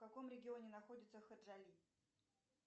в каком регионе находится хаджали